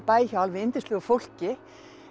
bæ hjá alveg yndislegu fólki